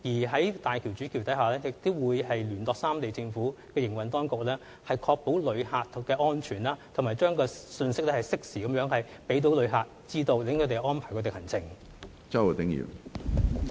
在大橋主橋下，亦會有人員聯絡三地的政府，以確保旅客安全，並且適時向旅客發放信息，好讓他們安排行程。